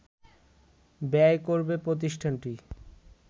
ব্যয় করবে প্রতিষ্ঠানটি